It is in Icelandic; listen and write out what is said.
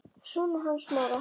Sonur hans Smára.